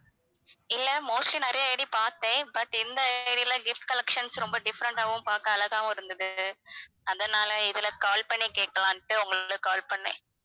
இல்ல mostly நிறைய ID பார்த்தேன் but இந்த ID ல gift collections ரொம்ப different ஆவும் பார்க்க அழகாவும் இருந்தது அதனால இதுல call பண்ணி கேட்கலாம்ன்ட்டு உங்களுக்கு call பண்ணேன்